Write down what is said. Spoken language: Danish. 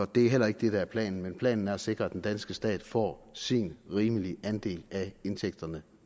det er heller ikke det der er planen planen er at sikre at den danske stat får sin rimelige andel af indtægterne